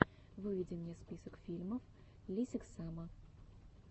выведи мне список фильмов лесиксама